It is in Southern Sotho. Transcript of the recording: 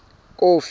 kofi